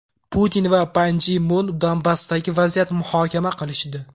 Putin va Pan Gi Mun Donbassdagi vaziyatni muhokama qilishdi.